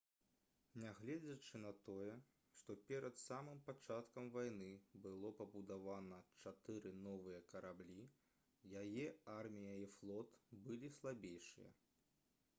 нягледзячы на тое што перад самым пачаткам вайны было пабудавана чатыры новыя караблі яе армія і флот былі слабейшыя